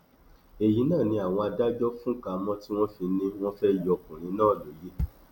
èyí náà ni àwọn adájọ fúnka mọ tí wọn fi ní ní wọn fẹẹ yọ ọkùnrin náà lóye